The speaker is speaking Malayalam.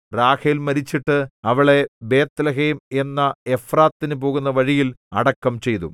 റാഹേൽ മരിച്ചിട്ട് അവളെ ബേത്ത്ലേഹേം എന്ന എഫ്രാത്തിനു പോകുന്ന വഴിയിൽ അടക്കം ചെയ്തു